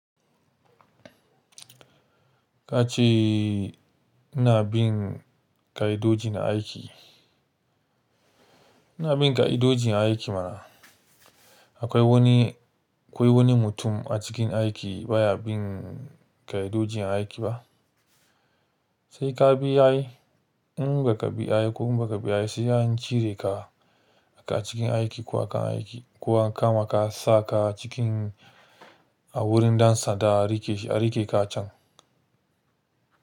Ka ce ina bin ƙa'idoji na aiki. Ina bin ƙa'idoji a aiki mana. Akwai wani, akwai wani mutum a cikin aiki baya bin ƙa'idoji na aiki ba. Sai ka bi yayi, in ba ka bi yayi ko ba ka bi yayi sai an cire ka a cikin aiki ko akan aiki, ko an kama ka sa ka cikin a wurin ɗan sanda a riƙe shi, a riƙe ka a can.